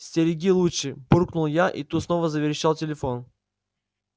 стереги лучше буркнул я и тут снова заверещал телефон